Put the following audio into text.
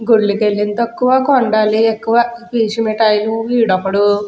గుళ్ళుకి ఎళ్లింది తక్కువ కొనడాలియి ఎక్కువ పీచు మిటాయిలు వీడొకడు --